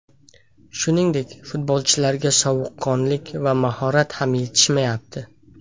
Shuningdek, futbolchilarga sovuqqonlik va mahorat ham yetishmayapti.